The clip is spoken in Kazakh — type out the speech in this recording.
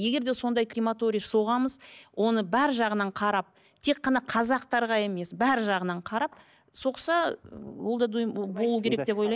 егер де сондай крематория соғамыз оны бар жағынан қарап тек қана қазақтарға емес бар жағынан қарап соқса болу керек деп ойлаймын